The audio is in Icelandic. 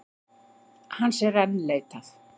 Hans er enn leitað